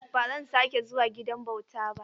Ba zan sake zuwa gidan bauta ba.